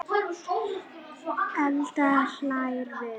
Edda hlær við.